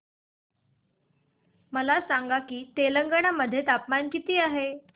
मला सांगा की तेलंगाणा मध्ये तापमान किती आहे